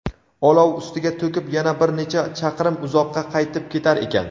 olov ustiga to‘kib yana bir necha chaqirim uzoqqa qaytib ketar ekan.